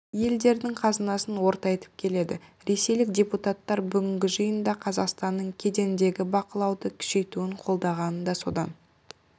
елдердің қазынасын ортайтып келеді ресейлік депутаттар бүгінгі жиында қазақстанның кедендегі бақылауды күшейтуін қолдағаны да содан